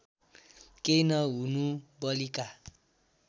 केही नहुनु बलिका